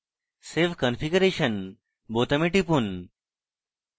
save configuration বোতামে টিপুন